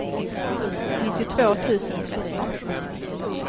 nittiotvå tusen tretton